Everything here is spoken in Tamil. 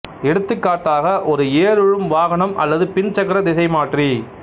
எடுத்துக்காட்டாக ஒரு ஏருழும் வாகனம் அல்லது பின் சக்கர திசைமாற்றி